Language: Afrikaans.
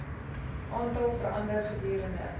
aantal verander gedurende